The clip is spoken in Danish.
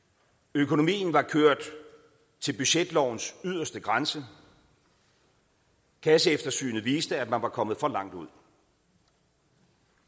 økonomien var kørt til budgetlovens yderste grænse kasseeftersynet viste at man var kommet for langt ud